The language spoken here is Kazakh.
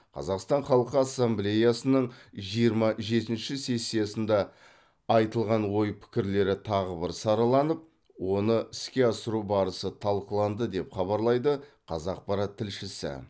қазақстан халқы ассамблеясының жиырма жетінші сессиясында айтылған ой пікірлері тағы бір сараланып оны іске асыру барысы талқыланды деп хабарлайды қазақпарат тілшісі